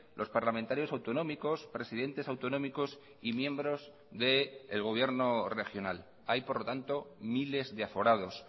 los parlamentarios autonómicos presidentes autonómicos y miembros del gobierno regional hay por lo tanto miles de aforados